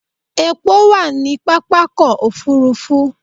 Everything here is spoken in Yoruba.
Epo wà ní pápákọ̀ òfúrúfú.